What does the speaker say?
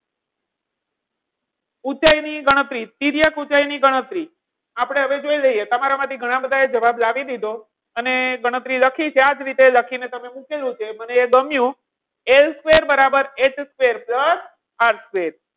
ઊંચાઈ ની ગણતરી, તિર્યક ઊંચાઈ ની ગણતરી આપણે હવે જોઈ લઈએ તમારા માંથી ઘણા બધા જવાબ લાવી દીધો. અને ગણતરી લખી છે આ જ રીતે લખી ને તમે મૂકેલું છે મને એ ગમ્યું, એ square બરાબર એ square plus R square.